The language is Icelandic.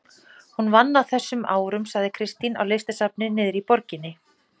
Hún vann á þessum árum sagði Kristín, á listasafni niðri í borginni.